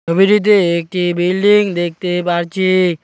ছবিটিতে একটি বিল্ডিং দেখতে পারছি।